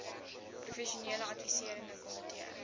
professionele adviserende komitee